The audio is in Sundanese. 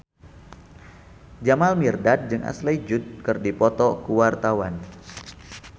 Jamal Mirdad jeung Ashley Judd keur dipoto ku wartawan